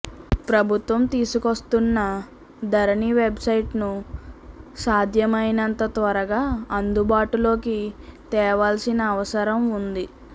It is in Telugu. ప్రభుత్వం తీసుకువస్తున్న ధరణి వెబ్ సైట్ ను సాధ్యమైనంత తర్వగా అందుబాటులోకి తేవాల్సిన అవసరం ఉంది